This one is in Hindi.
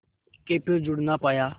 के फिर जुड़ ना पाया